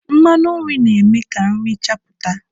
Mmanụ nri na-eme ka nri chapụta.